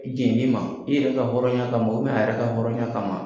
o jɛnn'i ma i yɛrɛ ka hɔrɔnya ka ma a yɛrɛ ka hɔrɔnya kama ma.